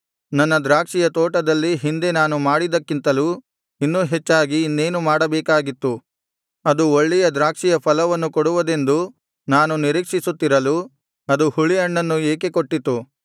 ನನ್ನ ದ್ರಾಕ್ಷಿಯ ತೋಟದಲ್ಲಿ ಹಿಂದೆ ನಾನು ಮಾಡಿದ್ದಕ್ಕಿಂತಲೂ ಇನ್ನೂ ಹೆಚ್ಚಾಗಿ ಇನ್ನೇನು ಮಾಡಬೇಕಾಗಿತ್ತು ಅದು ಒಳ್ಳೆಯ ದ್ರಾಕ್ಷಿಯ ಫಲವನ್ನು ಕೊಡುವುದೆಂದು ನಾನು ನಿರೀಕ್ಷಿಸುತ್ತಿರಲು ಅದು ಹುಳಿ ಹಣ್ಣನ್ನು ಏಕೆ ಕೊಟ್ಟಿತು